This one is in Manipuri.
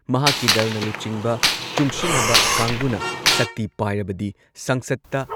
ꯃꯍꯥꯛꯀꯤ ꯗꯜꯅ ꯂꯨꯆꯤꯡꯕ ꯆꯨꯡꯁꯤꯟꯅꯕ ꯀꯥꯡꯕꯨꯅ ꯁꯛꯇꯤ ꯄꯥꯏꯔꯕꯗꯤ ꯁꯪꯁꯗꯇ